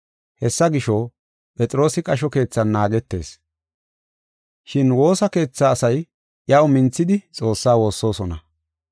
Hessa gisho, Phexroosi qasho keethan naagetees. Shin woosa keetha asay iyaw minthidi Xoossaa woossosona.